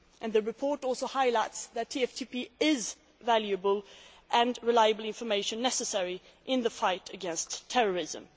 The report also highlights that TFTP is a valuable source of reliable information necessary in the fight against terrorism.